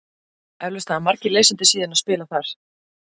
Eflaust hafa margir lesendur síðunnar spilað þar.